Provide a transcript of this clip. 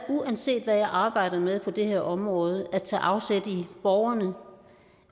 uanset hvad jeg arbejder med på det her område at tage afsæt i borgerne